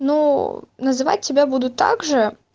ну называть тебя буду также